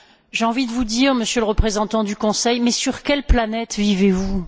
J'ai envie de vous demander, Monsieur le représentant du Conseil sur quelle planète vivez vous?